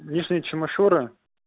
минчин мишура